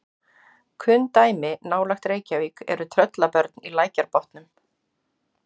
kunn dæmi nálægt reykjavík eru tröllabörn í lækjarbotnum